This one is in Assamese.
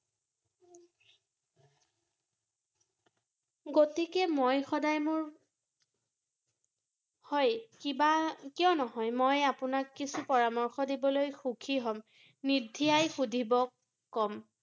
গতিকে মই সদায় মোৰ, হয় কিবা, কিয় নহয় মই আপোনাক কিছু পৰামৰ্শ দিবলৈ সুখী হ’ম ৷ নিদ্বিধায় সুধিব কম ৷